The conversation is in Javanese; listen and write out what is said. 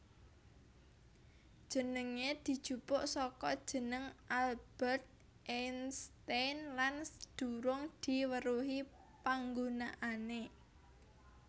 Jenengé dijupuk saka jeneng Albert Einstein lan durung diweruhi panggunaané